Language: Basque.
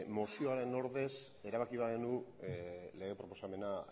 mozioaren ordez erabaki bagenu lege proposamena